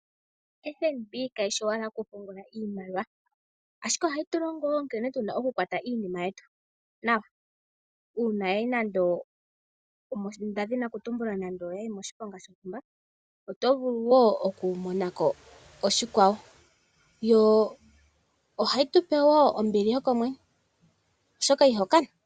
FNB kayishi owala yoku pungula iimaliwa, ashike ohayi tulingo woo nkene tuna okukwata iinima yetu nawa. Uuna yayi nande omoshiponga shontumba otovulu woo okumonako oshikwawoyo ohayi tupe woo ombili yokomwenyo oshoka iho kana.